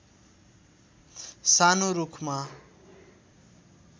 सानो रूखमा